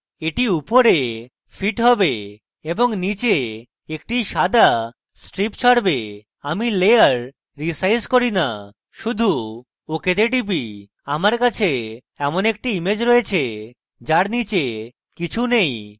এটি উপরে fit have এবং নীচে একটি সাদা strip ছাড়বে এবং আমি লেয়ার রীসাইজ করি না শুধু ok তে টিপি এবং এখন আমার কাছে এমন একটি image রয়েছে যার নীচে কিছু নেই